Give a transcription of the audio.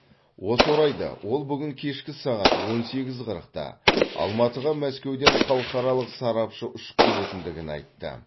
осы орайда ол бүгін кешкі сағат он сегіз қырықта алматыға мәскеуден халықаралық сарапшы ұшып келетіндігін айтты